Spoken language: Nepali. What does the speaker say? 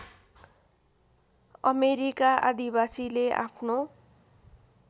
अमेरिका आदिवासीले आफ्नो